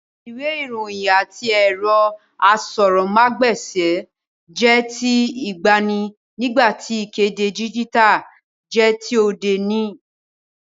Ìwé ìròyìn àti ẹ̀rọ asọ̀rọ̀mágb'èsì jẹ́ ti ìgbàanì, nígbà tí ìkéde díjítà jẹ́ ti òde òní